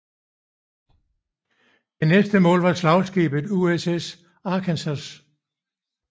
Det næste mål var slagskibet USS Arkansas